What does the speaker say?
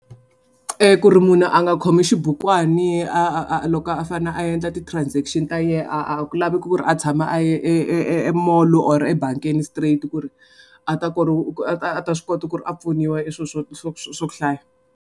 E ku ri munhu a nga khomi xibukwani a a a loko a fanele a endla ti-transection ta yena a a ku lavi ku ri a tshama a ye e e e e molo or ebangini straight ku ri a ta a ta a ta swi kota ku ri a pfuniwa swo hlaya.